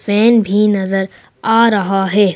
Fan भी नजर आ रहा है।